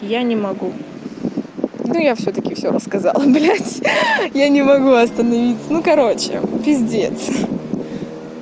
я не могу да я всё-таки всё рассказала блядь я не могу остановиться ну короче пиздец